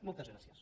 moltes gràcies